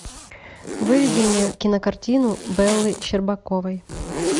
выведи мне кинокартину беллы щербаковой